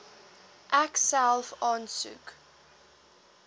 ek self aansoek